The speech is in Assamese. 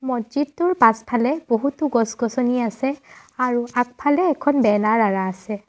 মহজিদটোৰ পাছফালে বহুতো গছ গছনি আছে আৰু আগফালে এখন বেনাৰ আঁৰা আছে।